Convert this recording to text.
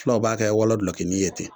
Fulaw b'a kɛ wɔlɔ gulɔkini ye ten